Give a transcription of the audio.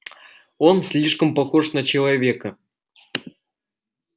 он слишком похож на человека